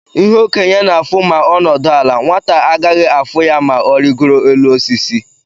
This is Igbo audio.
ihe okenye na afụ ma onudu ala, nwata agaghị afu ya ma origoro élú osisi.